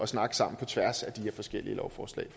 snakke sammen på tværs af de her forskellige lovforslag